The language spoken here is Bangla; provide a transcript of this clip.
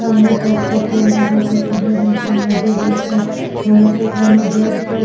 সামনেতে একটা পুল দেখাছে। পুলের নিচে নদী বইছে। আর এখানে জল তো--